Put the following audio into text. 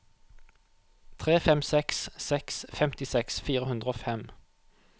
tre fem seks seks femtiseks fire hundre og fem